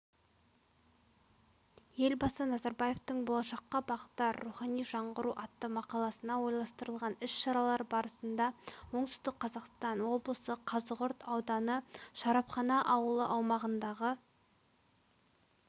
елбасы назарбаевтың болашаққа бағдар рухани жаңғыру атты мақаласына орайластарылғаніс-шаралар барысында оңтүстік қазақстан облысықазығұрт ауданышарапхана ауылы аумағындағы